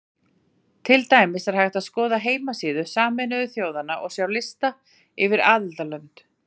Til dæmis er hægt að skoða heimasíðu Sameinuðu þjóðanna og sjá þar lista yfir aðildarlönd.